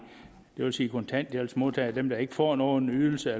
vil sige kontanthjælpsmodtagere og dem der ikke får nogen ydelse